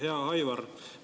Hea Aivar!